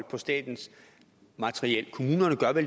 bestemmelser